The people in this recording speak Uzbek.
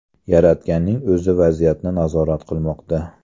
Yaratganning o‘zi vaziyatni nazorat qilmoqda”.